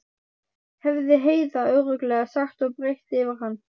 hefði Heiða örugglega sagt og breitt yfir hann.